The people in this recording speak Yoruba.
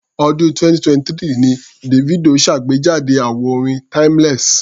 Ọ̀dún 2023 ni Davido ṣàgbejáde àwo orin Timeless.